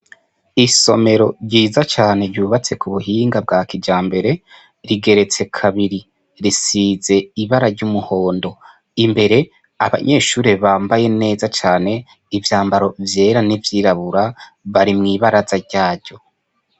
Isomero ryiza cane ryubatse ku buhinga bwa kijambere rigeretse kabiri, risize ibara ry'umuhondo. Imbere, abanyeshure bambaye neza cane ivyambaro vyera n'ivyirabura, bari mwi baraza ryaryo.